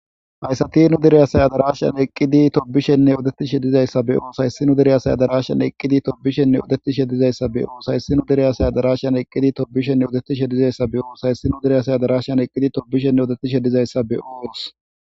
hayssati nu direyasay adarashsan eqqidi tobishenne odettishe dizayssa be oo hayssinu dereyasay adarashan eqqidi tobishenne odetishe dizayssa beoos hayssinu direyasay adarashsyan eqqidi tobishenne odettishe dizayssa be oos hayssinu direya say adarashan eqqidi tobishenne odettishe dizayssa be7oos